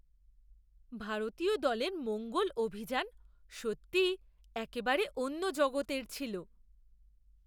ভারতীয় দলের মঙ্গল অভিযান সত্যিই একেবারে অন্য জগতের ছিল!